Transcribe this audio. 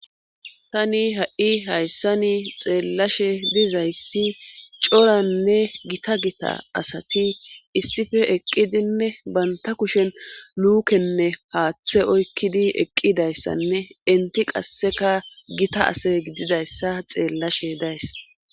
Tani ha'i hayssani xeellashe diza issi coranne gita gita asati issippe eqqidanne banta kushen luukenne haaththa oykkidi eqqida asanne eti qasseka gita ase gididayssa xeellashe days.